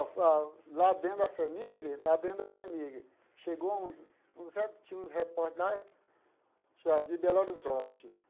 Lá dentro da família, lá dentro da família, chegou uns uns re, tinha uns repórteres lá tinha de Belo Horizonte.